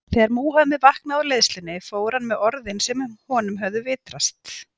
þegar múhameð vaknaði úr leiðslunni fór hann með orðin sem honum höfðu vitrast